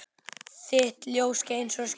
Þitt ljós skein svo skært.